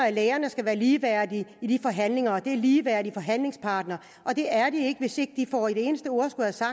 at lægerne skal være ligeværdige i de forhandlinger og at de er ligeværdige forhandlingspartnere og det er de ikke hvis de ikke får et eneste ord